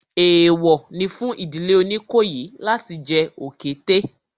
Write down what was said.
Èèwọ̀ ni fún ìdílé Oníkòyí láti jẹ òkété